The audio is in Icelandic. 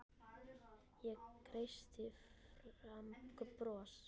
Ég kreisti fram bros.